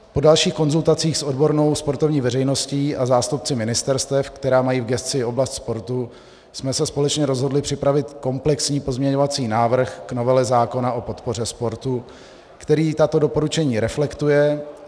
Po dalších konzultacích s odbornou sportovní veřejností a zástupci ministerstev, která mají v gesci oblast sportu, jsme se společně rozhodli připravit komplexní pozměňovací návrh k novele zákona o podpoře sportu, který tato doporučení reflektuje.